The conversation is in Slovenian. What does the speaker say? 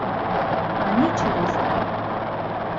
A nič resnega.